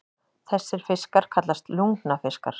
Þessir fiskar kallast lungnafiskar.